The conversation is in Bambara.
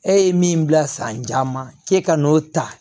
E ye min bila san caman k'e ka n'o ta